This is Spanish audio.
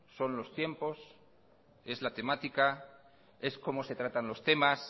son los tiempos es la temática es cómo se tratan los temas